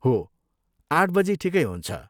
हो, आठ बजी ठिकै हुन्छ।